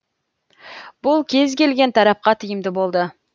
бұл кез келген тарапқа тиімді болады